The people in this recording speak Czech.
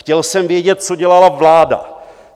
Chtěl jsem vědět, co dělala vláda.